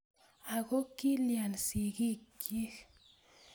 Ako kiiyan sigikchi?